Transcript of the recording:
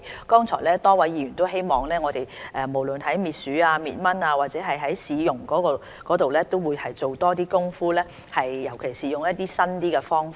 剛才多位議員都希望我們無論在滅鼠、滅蚊或市容方面都多做點工夫，尤其是利用一些新的方法。